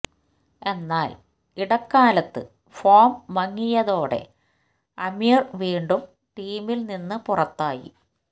എന്നാല് ഇടക്കാലത്ത് ഫോം മങ്ങിയതോടെ ആമിര് വീണ്ടും ടീമില് നിന്ന് പുറത്തായി